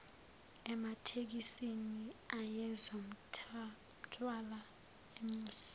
ematekisini ayezomthwala amuse